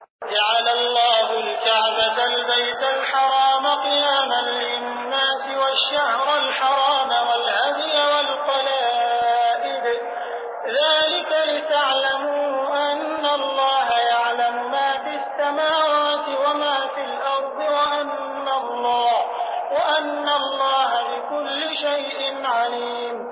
۞ جَعَلَ اللَّهُ الْكَعْبَةَ الْبَيْتَ الْحَرَامَ قِيَامًا لِّلنَّاسِ وَالشَّهْرَ الْحَرَامَ وَالْهَدْيَ وَالْقَلَائِدَ ۚ ذَٰلِكَ لِتَعْلَمُوا أَنَّ اللَّهَ يَعْلَمُ مَا فِي السَّمَاوَاتِ وَمَا فِي الْأَرْضِ وَأَنَّ اللَّهَ بِكُلِّ شَيْءٍ عَلِيمٌ